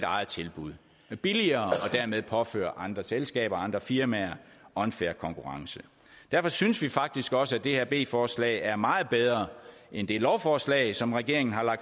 eget tilbud billigere og dermed påføre andre selskaber andre firmaer unfair konkurrence derfor synes vi faktisk også at det her b forslag er meget bedre end det lovforslag som regeringen har